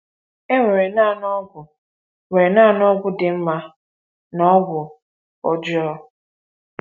um E nwere naanị ọgwụ nwere naanị ọgwụ dị mma na ọgwụ ọjọọ.